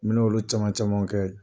bɛ na olu caman caman kɛ.